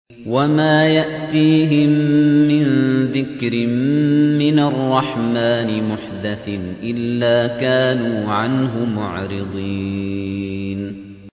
وَمَا يَأْتِيهِم مِّن ذِكْرٍ مِّنَ الرَّحْمَٰنِ مُحْدَثٍ إِلَّا كَانُوا عَنْهُ مُعْرِضِينَ